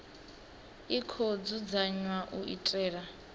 i khou dzudzanywa u itela